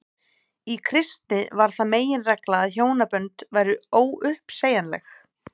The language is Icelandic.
í kristni varð það meginregla að hjónabönd væru óuppsegjanleg